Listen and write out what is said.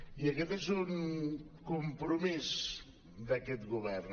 i aquest és un compromís d’aquest govern